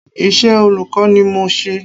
Iṣẹ́ olùkọ́ ni mò ń ṣe.